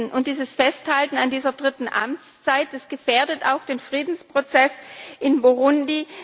Und dieses Festhalten an dieser dritten Amtszeit gefährdet auch den Friedensprozess in Burundi.